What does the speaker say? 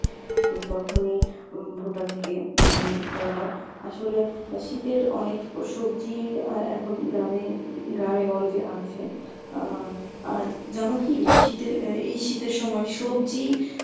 তো তখনই উম ভুট্টা থেকে উম ই করা হয় । আসলে এ শীতের অনেক সবজি আহ এখন গ্রামে গ্রামে-গঞ্জে আছে আহ আর জানো কী শীতের এ এই শীতের সময় সবজি